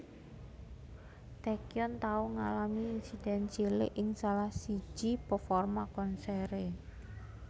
Taecyeon tau ngalami insiden cilik ing salah siji performa konsere